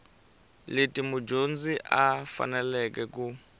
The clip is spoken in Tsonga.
leti mudyondzi a faneleke ku